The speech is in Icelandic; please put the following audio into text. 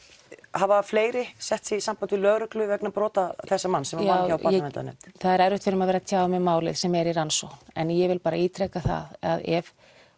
hafa fleiri sett sig í samband við lögreglu vegna brota þessa manns sem vann hjá Barnaverndarnefnd það er erfitt fyrir mig að vera að tjá mig um málið sem er í rannsókn en ég vil bara ítreka það að ef